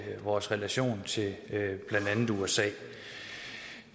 vores relation til blandt andet usa